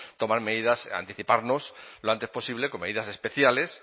tomar medidas anticiparnos lo antes posible con medidas especiales